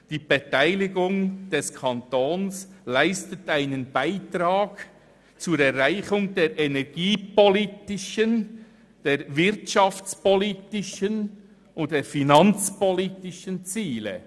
«Die Beteiligung des Kantons leistet einen Beitrag zur Erreichung der energiepolitischen, der wirtschaftspolitischen und der finanzpolitischen Ziele.